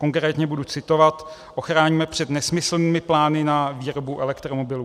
Konkrétně budu citovat: "Ochráníme před nesmyslnými plány na výrobu elektromobilů."